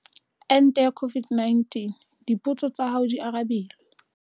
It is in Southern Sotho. Ente ya COVID-19- Dipotso tsa hao di arabilwe